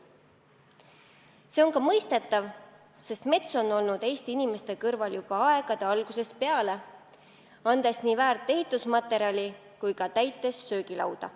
See on ka mõistetav, sest mets on olnud Eesti inimeste kõrval juba aegade algusest peale, andes nii väärt ehitusmaterjali kui ka täites söögilauda.